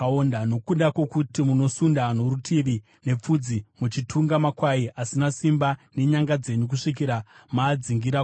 Nokuda kwokuti munosunda norutivi nepfudzi, muchitunga makwai asina simba nenyanga dzenyu kusvikira maadzingira kure,